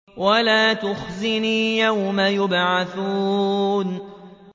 وَلَا تُخْزِنِي يَوْمَ يُبْعَثُونَ